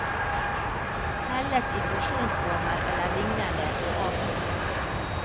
Helles i porsjonsformer eller lignende, og avkjøles.